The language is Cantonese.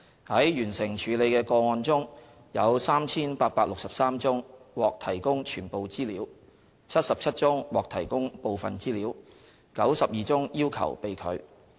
在完成處理的個案中，有 3,863 宗獲提供全部資料 ，77 宗獲提供部分資料 ，92 宗要求被拒。